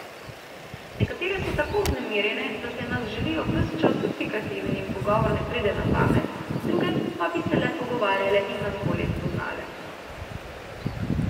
Nekatere so tako vznemirjene, da se nas želijo ves čas dotikati in jim pogovor ne pride na pamet, druge pa bi se le pogovarjale in nas bolje spoznale.